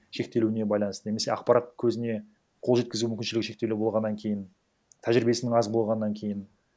шектелуіне байланысты немесе ақпарат көзіне қол жеткізу мүмкіншілігі шектеулі болғаннан кейін тәжірибесінің аз болғаннан кейін